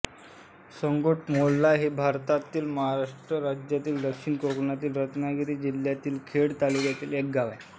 सांगलोट मोहोल्ला हे भारतातील महाराष्ट्र राज्यातील दक्षिण कोकणातील रत्नागिरी जिल्ह्यातील खेड तालुक्यातील एक गाव आहे